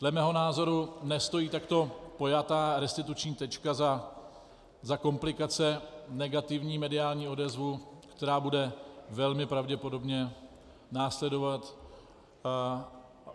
Dle mého názoru nestojí takto pojatá restituční tečka za komplikace, negativní mediální odezvu, která bude velmi pravděpodobně následovat.